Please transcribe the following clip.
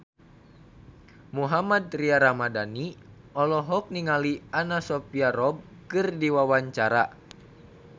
Mohammad Tria Ramadhani olohok ningali Anna Sophia Robb keur diwawancara